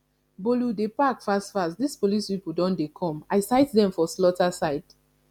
bolu dey pack fast fast dis police people don dey come i sight dem for slaughter side